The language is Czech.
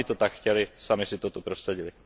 Sami to tak chtěly, sami si to tady prosadily.